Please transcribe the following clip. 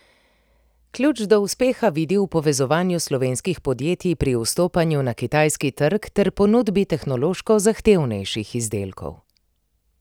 Ključ do uspeha vidi v povezovanju slovenskih podjetij pri vstopanju na kitajski trg ter ponudbi tehnološko zahtevnejših izdelkov.